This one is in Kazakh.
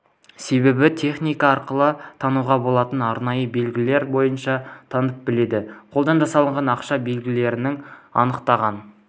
себебі техника арқылы тануға болатын арнайы белгілер бойынша танып біледі қолдан жасалған ақша белгілерін анықтаған